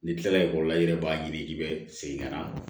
N'i kilala ekɔli la i yɛrɛ b'a ɲini k'i bɛ segin ka na